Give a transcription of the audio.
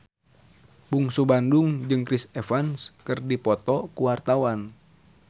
Bungsu Bandung jeung Chris Evans keur dipoto ku wartawan